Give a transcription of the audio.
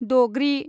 दग्रि